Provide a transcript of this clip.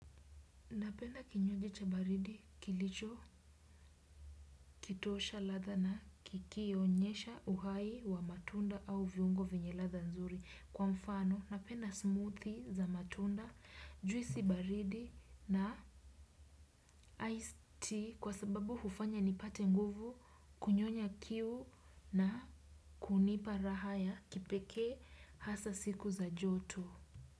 Napenda kinyugi cha baridi kilichokitosha ladha na kikionyesha uhai wa matunda au viungo vyenye ladha nzuri. Kwa mfano, napenda smoothie za matunda, juisi baridi na iced tea kwa sababu hufanya nipate nguvu kunyonya kiu na kunipa raha ya kipekee hasa siku za joto.